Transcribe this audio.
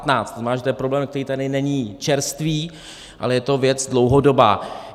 To znamená, že je to problém, který tady není čerstvý, ale je to věc dlouhodobá.